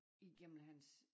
Igennem hans